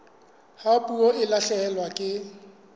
ha puo e lahlehelwa ke